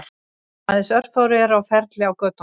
Aðeins örfáir eru á ferli á götunum